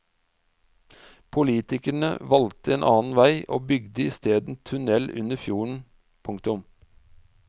Politikerne valgte en annen vei og bygde isteden tunnel under fjorden. punktum